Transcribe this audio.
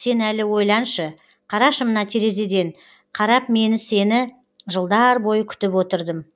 сен әлі ойланшы қарашы мына терезеден қарап мен сені жылдар бойы күтіп отырдым